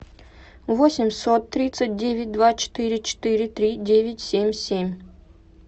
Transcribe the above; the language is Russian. восемьсот тридцать девять два четыре четыре три девять семь семь